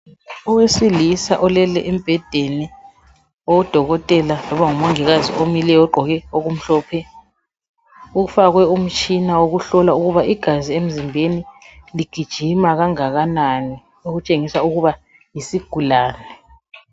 Owesilisa olele embhedeni, udokotela kungaba ngumongikazi omileyo ogqoke okumhlophe. Ufakwe umtshina wokuhlola ukuba igazi emzimbeni ligijima kangakanani, okutshengisela ukuba yisigulane.